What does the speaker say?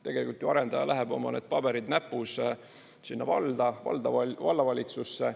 Tegelikult ju arendaja läheb, oma need paberid näpus, sinna valda, vallavalitsusse.